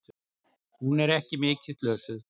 Hún er ekki mikið slösuð.